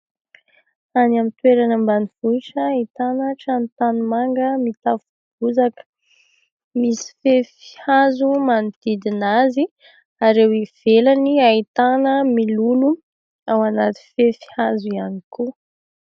Any amin'ny toerana ambanivohitra ahitana trano tanimanga mitafo bozaka misy fefy hazo manodidina azy ireo ivelany ahitana mololo ao anaty fefy hazo ihany koa.